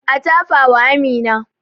A tafa wa Amina